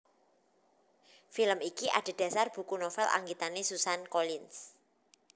Film iki adhedhasar buku novel anggitané Suzanne Collins